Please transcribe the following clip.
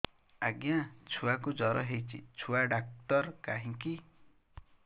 ଆଜ୍ଞା ଛୁଆକୁ ଜର ହେଇଚି ଛୁଆ ଡାକ୍ତର କାହିଁ କି